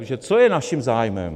Protože co je naším zájmem?